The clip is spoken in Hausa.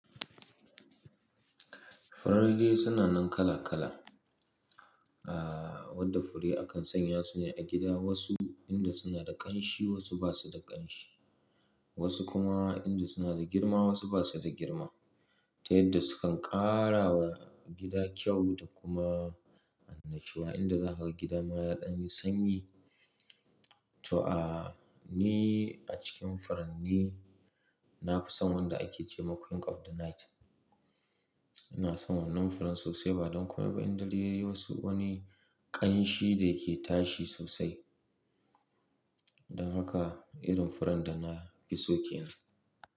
Furanni dai suna nan kala kala. Aaa, wadda fure akan sanya su ne a gida wasu inda suna da ƙanshi wasu basa da ƙanshi. Wasu kuma inda suna da girma wasu basa da girma. Ta yadda sukan ƙarawa gida kyau da kuma annashuwa inda za a ga gida ma yaɗa sanyi. To aa, ni a cikin furanni nafi son wanda ake ce ma Queen of the Night. Ina son wannan furin sosai ba don kuma ba'inda ya yi wasu wani ƙanshi da yake tashi sosai. Don haka irin furen da nafi so ke nan.